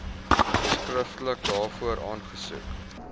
skriftelik daarvoor aansoek